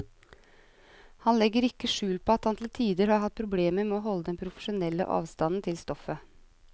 Han legger ikke skjul på at han til tider har hatt problemer med å holde den profesjonelle avstand til stoffet.